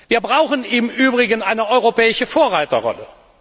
Wir brauchen im Übrigen eine europäische Vorreiterrolle.